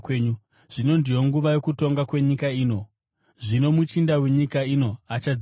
Zvino ndiyo nguva yokutongwa kwenyika ino; zvino muchinda wenyika ino achadzingwa.